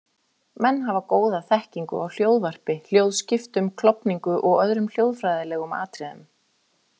Menn hafa góða þekkingu á hljóðvarpi, hljóðskiptum, klofningu og öðrum hljóðfræðilegum atriðum.